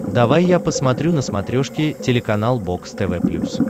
давай я посмотрю на смотрешке телеканал бокс тв плюс